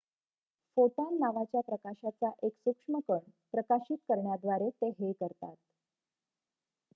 """Photon" नावाच्या प्रकाशाचा एक सूक्ष्म कण प्रकाशित करण्याद्वारे ते हे करतात.